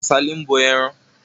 Kàsálí ń bọ ẹran.